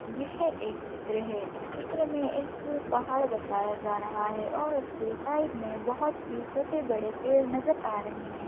यह एक चित्र है इस चित्र में एक पहाड़ बताया जा रहा है और उसके साइड में बहुत सी छोटे-बड़े पेड़ नजर आ रहे हैं।